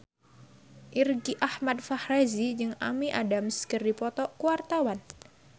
Irgi Ahmad Fahrezi jeung Amy Adams keur dipoto ku wartawan